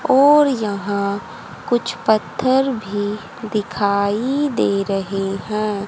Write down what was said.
और यहां कुछ पत्थर भी दिखाई दे रहे हैं।